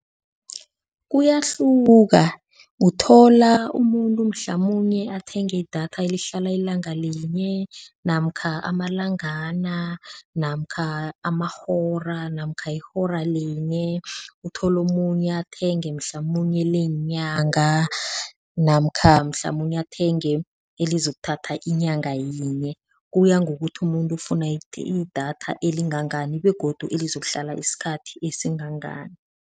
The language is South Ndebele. Kuyahluka uthola umuntu mhlamunye athenge idatha elihlala ilanga linye namkha amalangana namkha amahora namkha ihora linye, uthole omunye athenge mhlamunye leenyanga namkha mhlamunye athenge elizakuthatha inyanga yinye, kuya ngokuthi umuntu ufuna idatha elingangani begodu elizokuhlala isikhathi esingangani.